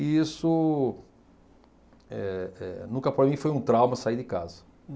E isso, eh, eh, nunca para mim foi um trauma sair de casa.